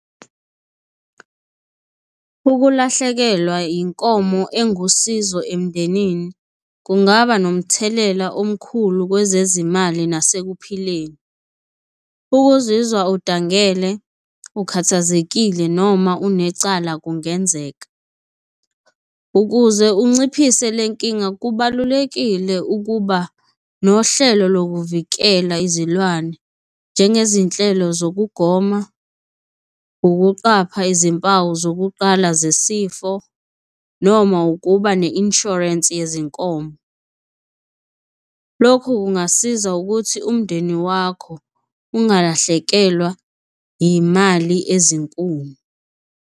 Ukulahlekelwa inkomo engusizo emndenini kungaba nomthelela omkhulu kwezezimali nasekuphileni. Ukuzizwa udangele, ukhathazekile noma unecala kungenzeka. Ukuze unciphise le nkinga kubalulekile ukuba nohlelo lokuvikela izilwane njengezinhlelo zokugoma, ukuqapha izimpawu zokuqala zesifo noma ukuba ne-insurance yezinkomo. Lokhu kungasiza ukuthi umndeni wakho ungalahlekelwa imali ezinkulu.